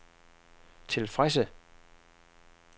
tilfredse